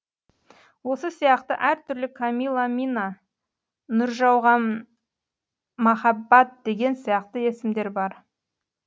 осы сияқты әртүрлі камилламина нұржауған махаббат деген сияқты есімдер бар